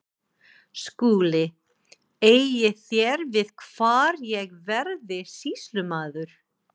SKÚLI: Eigið þér við hvar ég verði sýslumaður?